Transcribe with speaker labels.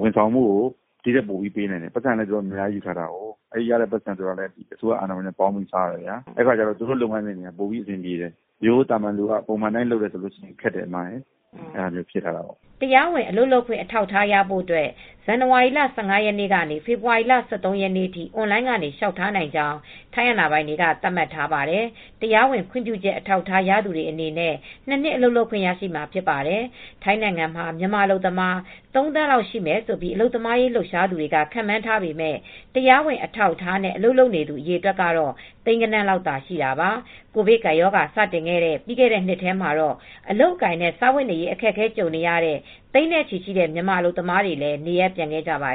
Speaker 1: ဝန်ဆောင်မှု ပို့လုပ်ပေးနိုင်တယ်။ ပိုက်ဆံလည်း အများကြီးယူထားတယ်။ အဲဒီရတဲ့ငွေနဲ့ ဝန်ဆောင်မှု လုပ်ပေးတဲ့အခါ အစိုရအာဏာပိုင်နဲ့ပေါင်းပြီး စားတယ်။ ဒီအတွက်သူတို့လုပ်ငန်းက ပိုပြီးမြန်ဆန်ပြီး အဆင်ပြေတယ်။ ရိုးရိုသာမာန်က ပုံမှန်အတိုင်းလုပ်ရင်ခက်ခဲတာတွေလည်း ရှိတယ်။
Speaker 2: " တရားဝင် အလုပ်လုပ်ခွင့် အထောက်အထားရဖို့ ဇန်နဝါရီလ ၁၅ ရက်နေ့ကနေ ဖေဖေါ်ဝါရီလ ၁၃ ရက်နေ့အထိ အွန်လိုင်းကနေ လျှောက်ထားနိုင်ကြောင်း ထိုင်းအာဏာပိုင်တွေက သတ်မှတ်ထားပါတယ်။ တရားဝင်ခွင့်ပြုချက် အထောက်အထား ရသူတွေ အနေနဲ့ ၂ နှစ် အလုပ်လုပ်ခွင့်ရရှိမှာ ဖြစ်ပါတယ်။ ထိုင်းနိုင်ငံမှာ မြန်မာအလုပ်သမား ၃,၀၀၀,၀၀၀ လောက်ရှိမယ်လို့ အလုပ်သမားရေး လှုပ်ရှားသူတွေ ခန့်မှန်းထားပေမဲ့ တရားဝင် အထောက်အထားနဲ့ အလုပ်လုပ်နေတဲ့သူ အရေအတွက်ကတော့ သိန်းဂဏန်းလောက်သာ ရှိပါတယ်။ ကိုဗစ်ကပ်ရောဂါ စတင်ခဲ့တဲ့ ပြီးခဲ့တဲ့ နှစ်ထဲမှာတော့ အလုပ်အကိုင်နဲ့ စားဝတ်နေရေး အခက်အခဲကြုံကြရတဲ့ သိန်းနဲ့ချီတဲ့ မြန်မာအလုပ်သမားတွေလည်း နေရပ်ပြန်ခဲ့ကြပါတယ